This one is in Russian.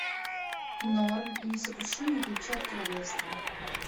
норм и несокрушимые ключи от королевства